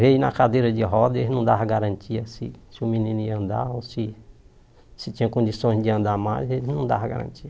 Veio na cadeira de rodas e eles não davam garantia se se o menino ia andar ou se tinha condições de andar mais, eles não davam garantia.